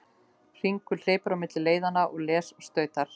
Hringur hleypur á milli leiðanna, les og stautar.